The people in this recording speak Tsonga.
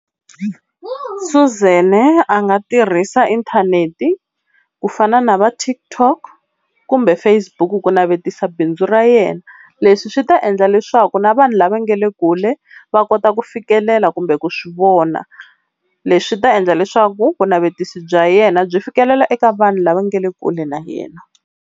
Suzan a nga tirhisa inthanete ku fana na va TikTok kumbe Facebook ku navetisa bindzu ra yena. Leswi swi ta endla leswaku na vanhu lava nga le kule va kota ku fikelela kumbe ku swi vona. Leswi swi ta endla leswaku vunavetiso bya yena byi fikelela eka vanhu lava nga le kule na yena.